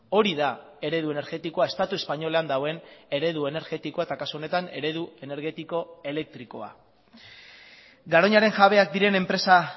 hori da eredu energetikoa estatu espainolean dagoen eredu energetikoa eta kasu honetan eredu energetiko elektrikoa garoñaren jabeak diren enpresa